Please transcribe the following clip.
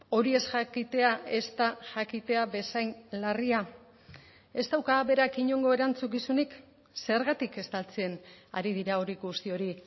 hori ez jakitea ez da jakitea bezain larria ez dauka berak inongo erantzukizunik zergatik estaltzen ari dira hori guzti hori